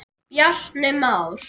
Bjarni Már.